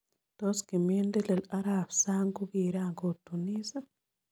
Tos' Kimintilil arap sang ko kiraan kotunis